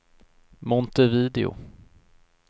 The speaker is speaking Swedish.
Montevideo